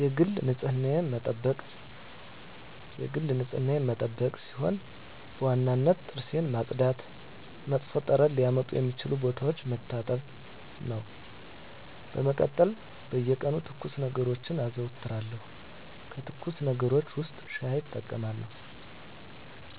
የግል ንፅህናዬን መጠበቅ ሲሆን በዋነኝነት ጥርሴን ማፅዳት እና መጥፎ ጠረን ሊያመጡ የሚችሉ ቦታዎችን መታጠብ ነው። በመቀጠል በየቀኑ ትኩስ ነገሮችን አዘወትራለሁ ከትኩስ ነገሮች ውስጥ ሻይ እጠቀማለሁ።